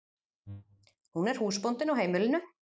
Hún er húsbóndinn á heimilinu.